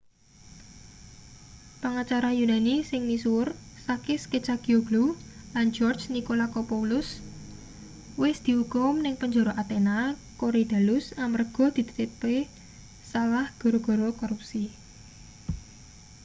pangacara yunani sing misuwur sakis kechagioglou lan george nikolakopoulos wis diukum ning penjara athena korydallus amarga ditetepke salah gara-gara korupsi